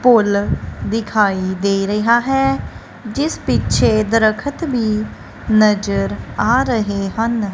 ਪੁੱਲ ਦਿਖਾਈ ਦੇ ਰਿਹਾ ਹੈ ਜਿਸ ਪਿੱਛੇ ਦਰਖਤ ਭੀ ਨਜ਼ਰ ਆ ਰਹੇ ਹਨ।